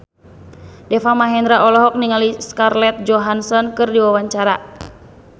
Deva Mahendra olohok ningali Scarlett Johansson keur diwawancara